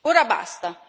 Ora basta!